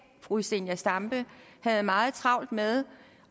fru zenia stampe havde meget travlt med